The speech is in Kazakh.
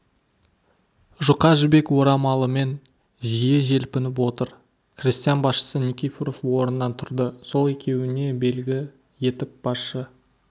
жұқа жібек орамалымен жиі желпініп отыр крестьян басшысы никифоров орнынан тұрды сол екеуіне белгі етіп басшы